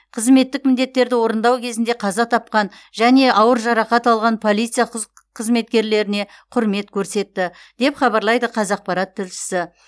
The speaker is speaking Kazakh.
қызметтік міндеттерді орындау кезінде қаза тапқан және ауыр жарақат алған полиция құз қызметкерлеріне құрмет көрсетті деп хабарлайды қазақпарат тілшісі